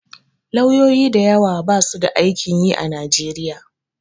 Lauyoyi da yawa basu da aikin yi a Nigeria.